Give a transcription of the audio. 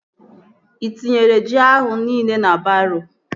Ị tinyego ji ahụ nile na baroo?